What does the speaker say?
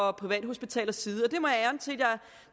og privathospitalernes side